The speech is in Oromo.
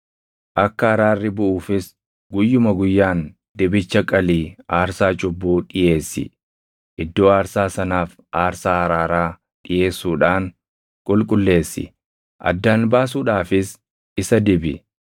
Akka araarri buʼuufis guyyuma guyyaan dibicha qalii aarsaa cubbuu dhiʼeessi. Iddoo aarsaa sanaaf aarsaa araaraa dhiʼeessuudhaan qulqulleessi; addaan baasuudhaafis isa dibi.